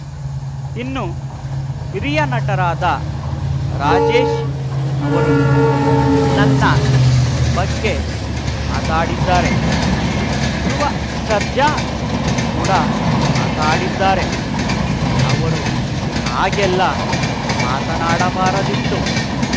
ಇನ್ನು ಹಿರಿಯ ನಟರಾದ ರಾಜೇಶ್‌ ಅವರು ನನ್ನ ಬಗ್ಗೆ ಮಾತಾಡಿದ್ದಾರೆ ಧ್ರುವ ಸರ್ಜಾ ಕೂಡ ಮಾತಾಡಿದ್ದಾರೆ ಅವರು ಹಾಗೆಲ್ಲಾ ಮಾತನಾಡಬಾರದಿತ್ತು